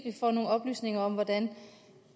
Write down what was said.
vi får nogle oplysninger om hvordan